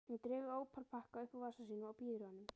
Hún dregur ópal-pakka upp úr vasa sínum og býður honum.